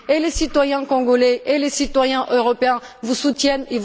Les citoyens congolais tout comme les citoyens européens vous soutiennent.